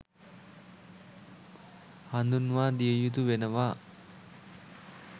හඳුන්වා දිය යුතු වෙනවා